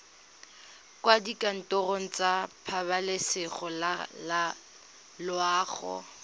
kwa dikantorong tsa pabalesego loago